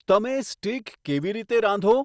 તમે સ્ટિક કેવી રીતે રાંધો